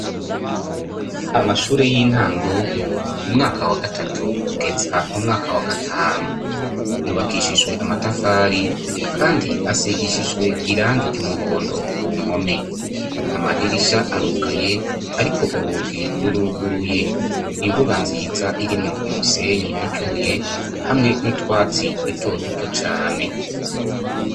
Amashure y'intango, umwaka wa gatatu kugeza umwaka wa gatanu. Yubakishijwe amatafari kandi asigishijwe irangi ry'umuhondo ku mpome. Amadirisha arugaye, ariko urugi ruruguruye. Imbuga nziza irimwo umusenyi n'utubuye hamwe n'utwatsi dutoduto cane.